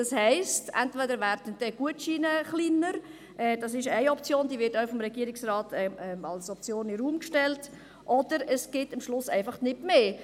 Das heisst: Entweder werden die Gutscheine kleiner – das ist eine Option, die vom Regierungsrat in den Raum gestellt wird –, oder es gibt am Schluss einfach nicht mehr.